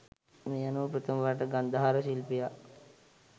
මේ අනුව ප්‍රථම වරට ගන්ධාර ශිල්පියා